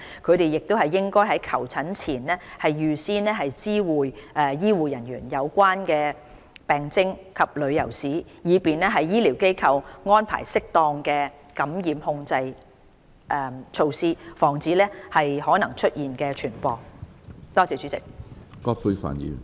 他們亦應在求診前預先知會醫護人員有關的病徵及旅遊史，以便醫療機構安排適當的感染控制措施，防止可能出現的病毒傳播。